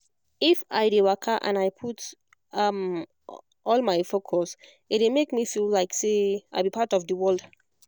if i dey waka and i put um all my focus e dey make me feel like say i be part of the world